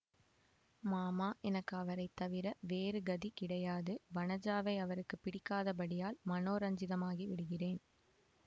மாமா எனக்கு அவரை தவிர வேறு கதி கிடையாது வனஜாவை அவருக்கு பிடிக்காதபடியால் மனோரஞ்சிதமாகி விடுகிறேன்